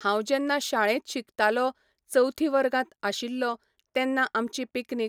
हांव जेन्ना शाळेंत शिकतालों चवथी वर्गांत आशिल्लो तेन्ना आमची पिकनीक